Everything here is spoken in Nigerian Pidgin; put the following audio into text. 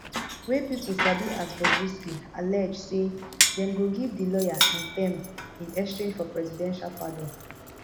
wey pipo sabi as bobrisky allege say dem go give di lawyer n ten m in exchange for presidential pardon